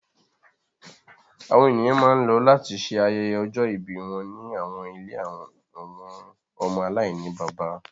Àwọn eniyan ma n lọ lati ṣe ayẹyẹ ọjọ-ibi wọn ni awọn ìlé awọn ọmọ alainibaba